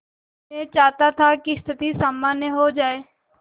मैं चाहता था कि स्थिति सामान्य हो जाए